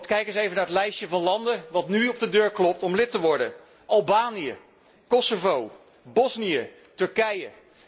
Kijk eens even naar het lijstje van landen dat nu op de deur klopt om lid te worden Albanië, Kosovo, Bosnië, Turkije.